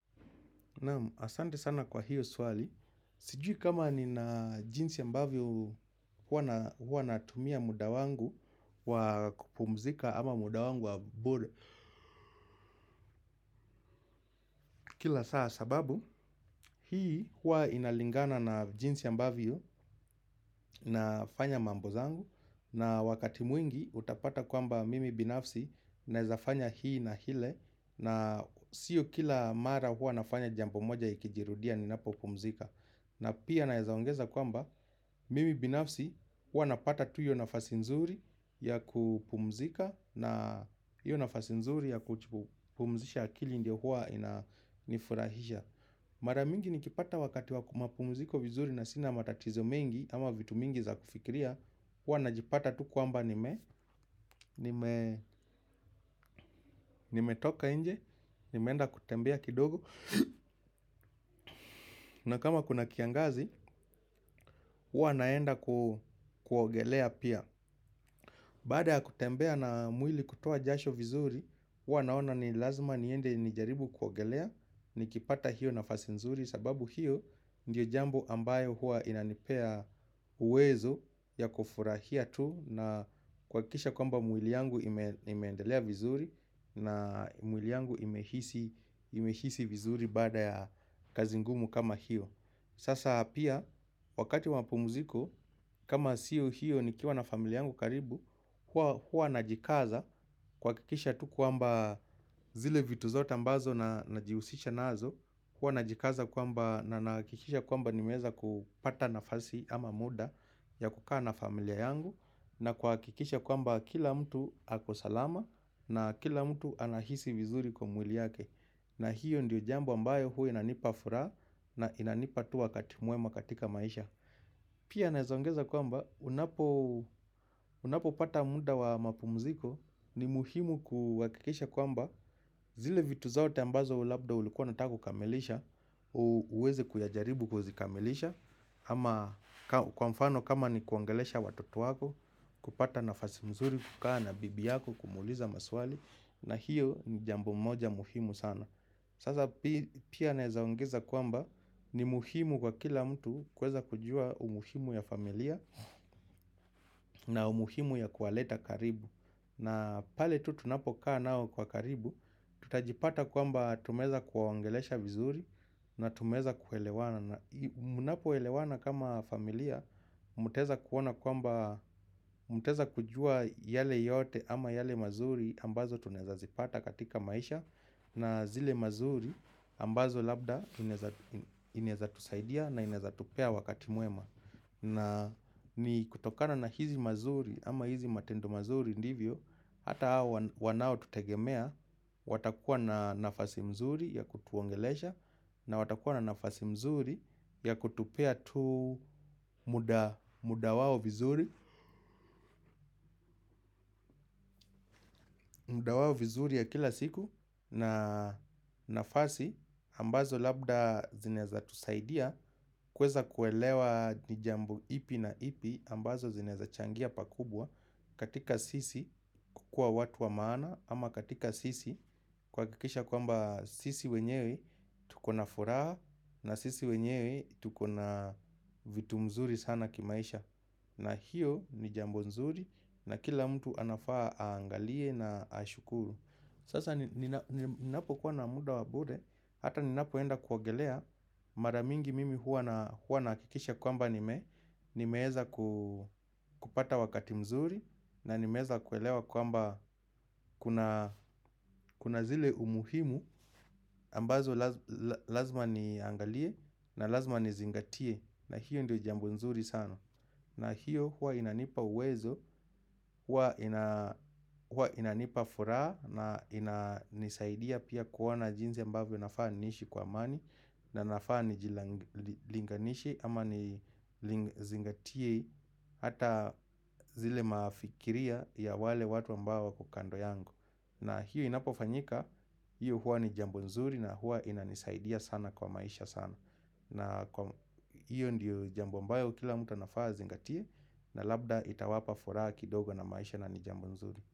Asante sana kwa hiyo suwali, sijui kama nina jinzi ambavyo huwa natumia mudawangu wa kupumzika ama mudawangu wa bure. Kila saa sababu, hii huwa inalingana na jinzi ambavyo nafanya mambo zangu. Na wakati mwingi utapata kwamba mimi binafsi naezafanya hii na hile. Na sio kila mara huwa nafanya jambo moja ikijirudia ninapo pumzika. Na pia naeza ongeza kwamba mimi binafsi huwa napata tu iyo nafasi nzuri ya kupumzika na iyo nafasi nzuri ya kupumzisha akili ndio hua inanifurahisha. Mara mingi nikipata wakati wa pumuziko vizuri na sina matatizo mengi ama vitu mingi za kufikiria huwa na jipata tu kwamba nimetoka inje, nimenda kutembea kidogo. Na kama kuna kiangazi, huwa naenda kuogelea pia. Bada ya kutembea na mwili kutoa jasho vizuri huwa naona ni lazima niende ni jaribu kuogelea. Nikipata hiyo nafasi nzuri sababu hiyo ndiyo jambo ambayo hua inanipea uwezo ya kufurahia tu. Na kwakisha kwamba mwili yangu imeendelea vizuri. Na mwili yangu nimehisi vizuri bada ya kazi ngumu kama hiyo sasa pia, wakati wa mapumuziko, kama siyo hiyo ni kiwa na familia yangu karibu, hua najikaza kwa kikisha tu kuamba zile vitu zota mbazo najiusisha nazo, hua najikaza kwamba na nakikisha kwamba nimeza kupata nafasi ama muda ya kukaa na familia yangu na kwa kikisha kwamba kila mtu akosalama na kila mtu anahisi vizuri kwa mwili yake. Na hiyo ndiyo jambo ambayo hua inanipa fura na inanipa tu wakati muwema katika maisha. Pia naezongeza kwamba unapo pata munda wa mapumziko ni muhimu kuwakikisha kwamba zile vitu zote ambazo labda ulikuwa unataka kukamelisha uweze kuyajaribu kuzikamilisha. Ama kwa mfano kama ni kuongelesha watoto wako kupata nafasi mzuri kukaa na bibi yako kumuliza maswali na hiyo ni jambo moja muhimu sana. Sasa pia naezaongeza kwamba ni muhimu kwa kila mtu kweza kujua umuhimu ya familia na umuhimu ya kuwaleta karibu. Na pale tu tunapokaa nao kwa karibu, tutajipata kwamba tumeza kuwawongelesha vizuri na tumeza kuwelewana. Munapo elewana kama familia, muteza kujua yale yote ama yale mazuri ambazo tuneza zipata katika maisha na zile mazuri ambazo labda ineza tusaidia na ineza tupea wakati muema. Na ni kutokana na hizi mazuri ama hizi matendo mazuri ndivyo hata wanao tutegemea watakuwa na nafasi mzuri ya kutuongelesha. Na watakuwa na nafasi mzuri ya kutupea tu muda wawo vizuri. Muda wawo vizuri ya kila siku na nafasi ambazo labda zineza tusaidia. Kweza kuelewa ni jambo ipi na ipi ambazo zineza changia pakubwa. Katika sisi kwa watu wa maana ama katika sisi kwakikisha kwamba sisi wenyewe tukona furaha. Na sisi wenyewe tukona vitu mzuri sana kimaisha. Na hiyo ni jambo nzuri na kila mtu anafaa aangalie na ashukuru. Sasa ninapokuwa na muda wa bure. Hata ninapoenda kuwogelea maramingi mimi huwa nakikisha kwamba nimeza kupata wakati mzuri na nimeza kuelewa kwamba kuna zile umuhimu ambazo lazima niangalie na lazima nizingatie na hiyo ndio jambo nzuri sana. Na hiyo huwa inanipa uwezo, huwa inanipa furaa na inanisaidia pia kuwona jinzi ambavio nafaa nishi kwa amani. Na nafaa nijilinganishe ama ni zingatie hata zile maafikiria ya wale watu ambawo wako kando yangu. Na hiyo inapofanyika, hiyo huwa ni jambo nzuri na huwa inanisaidia sana kwa maisha sana. Na kwa hiyo ndiyo jambo ambayo kila mtu anafaa azingatie. Na labda itawapa furaha kidogo na maisha na ni jambo nzuri.